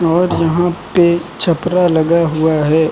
और यहां पे छपरा लगा हुआ है।